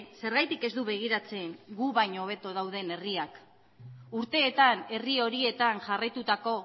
zergatik ez du begiratzen gu baino hobeto dauden herriak urteetan herri horietan jarraitutako